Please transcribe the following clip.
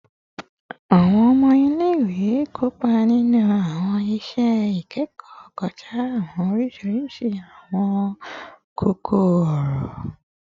Awọn ọmọ ile-iwe kopa ninu awọn iṣẹ ikẹkọ kọja awọn oriṣiriṣi awọn koko-ọrọ